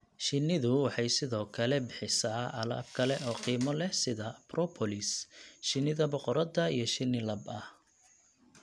Shinidu waxay sidoo kale bixisaa alaab kale oo qiimo leh sida propolis, shinida boqorada iyo shinni lab ah.